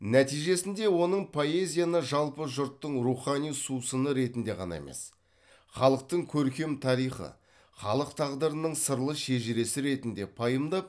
нәтижесінде оның поэзияны жалпы жұрттың рухани сусыны ретінде ғана емес халықтың көркем тарихы халық тағдырының сырлы шежіресі ретінде пайымдап